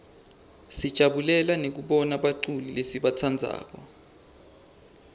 sijabulela nekubona baculi lesibatsandzako